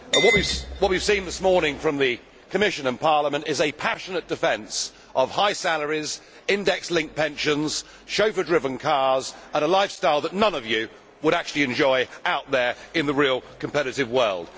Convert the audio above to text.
Mr President, what we have seen this morning from the Commission and Parliament is a passionate defence of high salaries, index linked pensions, chauffeur driven cars and a lifestyle that none of you would actually enjoy out there in the real competitive world.